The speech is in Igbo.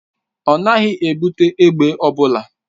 Ọ naghị ebute egbe ọ bụla.